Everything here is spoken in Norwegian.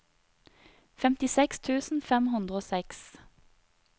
femtiseks tusen fem hundre og seks